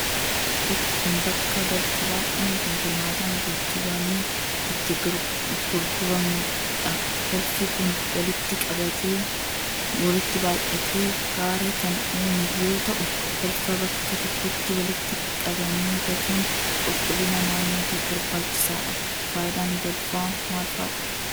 Bakki kun, bakka balfi baay'een kolkolaataan geejibamee itti gurguramuu dha. Balfi kun, walitti baay'atee gaara kan uume yoo ta'u, balfa bakka tokkotti walitti qabanii gatuun qulqullina naannootiif barbaachisaa dha. Faayidaan balfaa maal faa dha?